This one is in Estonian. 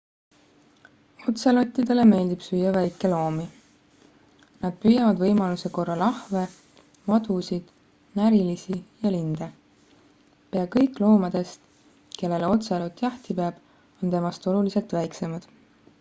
otselottidele meeldib süüa väikeloomi nad püüavad võimaluse korral ahve madusid närilisi ja linde pea kõik loomadest kellele otselot jahti peab on temast oluliselt väiksemad